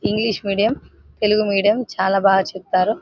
English medium Telugu medium చాలా బాగా చెప్పారు --